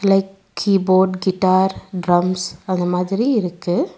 Like keyboard guitar drums அந்த மாதிரி இருக்கு.